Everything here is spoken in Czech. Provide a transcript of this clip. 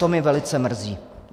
To mě velice mrzí.